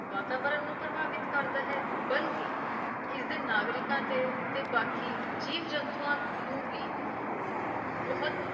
ਵਾਤਾਵਰਣ ਨੂੰ ਪ੍ਰਭਾਵਿਤ ਕਰਦਾ ਹੈ ਬਲਕਿ ਇਸ ਦੇ ਨਾਗਰਿਕਾਂ ਤੇ ਬਾਕੀ ਜੀਵ-ਜੰਤੂਆਂ ਨੂੰ ਵੀ ਬਹੁਤ